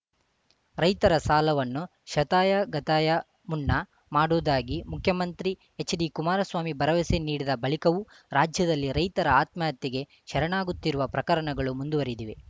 ರೈತರ ಸಾಲವನ್ನು ಶತಾಯಗತಾಯ ಮುನ್ನಾ ಮಾಡುವುದಾಗಿ ಮುಖ್ಯಮಂತ್ರಿ ಎಚ್‌ಡಿಕುಮಾರಸ್ವಾಮಿ ಭರವಸೆ ನೀಡಿದ ಬಳಿಕವೂ ರಾಜ್ಯದಲ್ಲಿ ರೈತರು ಆತ್ಮಹತ್ಯೆಗೆ ಶರಣಾಗುತ್ತಿರುವ ಪ್ರಕರಣಗಳು ಮುಂದುವರಿದಿವೆ